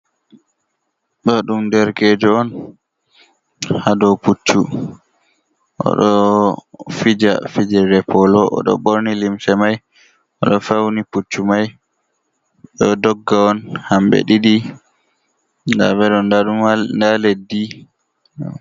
Ɗo ɗum derekejo on, ha dou puccu. O ɗo fija fivirde polo. O ɗo ɓorni limse mai, o ɗo fauni pucci mai. Ɓe ɗo dogga on hamɓe ɗiɗi. Nda ɓe ɗo, nda ɗumal nda leddi.